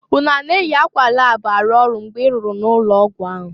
Unu a na-eyi akwa lab arụ ọrụ mgbe i rụrụ n'ụlọ ọgwụ ahụ?